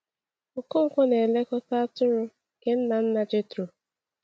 Okonkwo na-elekọta atụrụ nke nna nna Jethro.